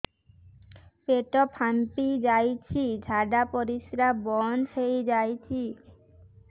ପେଟ ଫାମ୍ପି ଯାଇଛି ଝାଡ଼ା ପରିସ୍ରା ବନ୍ଦ ହେଇଯାଇଛି